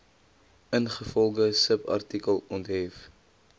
ingevolge subartikel onthef